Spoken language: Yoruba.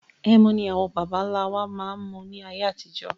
Ẹmu ni àwọn baba ńlá wa máa ń mu ni ayé àtijọ́